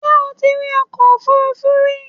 Ǹjẹ́ o ti rí ọkọ òfúrufú rí?